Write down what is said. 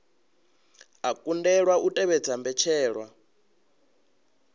a kundelwa u tevhedza mbetshelwa